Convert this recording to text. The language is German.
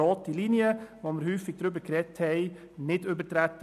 Offenbar wurde die häufig diskutierte rote Linie nicht überschritten.